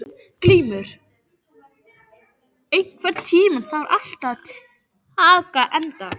Glúmur, einhvern tímann þarf allt að taka enda.